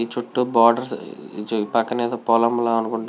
ఈ చూతు బోదేర్స్ ఈ చూతు పాకాల అయతె ఏదో పొలం వున్నది అనుకుంట.